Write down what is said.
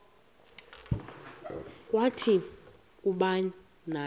kwathi kuba naye